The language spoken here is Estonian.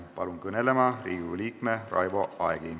Palun kõnelema Riigikogu liikme Raivo Aegi.